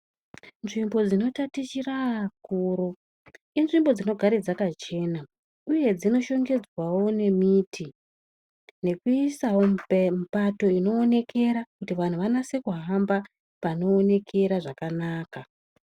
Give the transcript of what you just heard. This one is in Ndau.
Nzvimbo dzinotatichira akuru inzvimbo dzinogara dzakachena uye dzino shongedzwa wo ngemimbiti nekuiswawo mipato kuti vanhu vanyase kuhamba pano onekera zvakanaka.